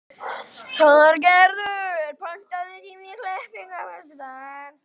Þorgerður, pantaðu tíma í klippingu á föstudaginn.